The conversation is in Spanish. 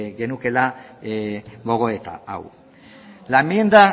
genukeela gogoeta hau la enmienda